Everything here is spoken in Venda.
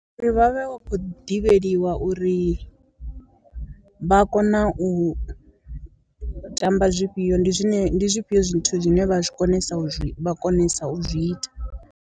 Uri vha vhe vha khou ḓivheliwa uri vha kona u u tamba zwifhio, ndi zwine ndi zwifhio zwithu zwine vha zwi konesa u zwi vha konesa u zwi ita.